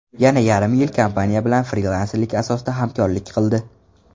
Yana yarim yil kompaniya bilan frilanserlik asosida hamkorlik qildi.